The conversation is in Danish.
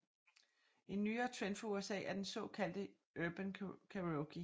En nyere trend fra USA er den såkaldte Urban Karaoke